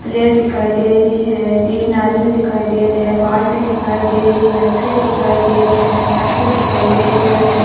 Table पे लाल tent बिछ्यो दिखे रियो।